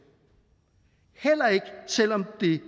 heller ikke selv om det